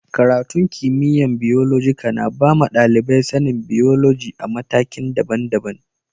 Karatun kimiyya'n Biyolojika na ba ma dalibai sani'n biyoloji a'matakin dabban-dabban.